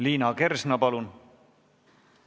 Liina Kersna, palun!